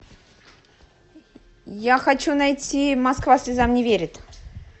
я хочу найти москва слезам не верит